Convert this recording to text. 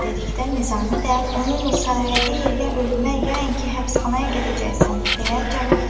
dedikdə, Nizami də onunla saraya deyil, ya ölümə, ya yəqin ki, həbsxanaya gedəcəksən, deyə cavab verdi.